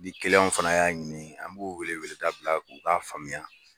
Ni fana y'a ɲini an b'u wele weledaa bila u k'a faamuya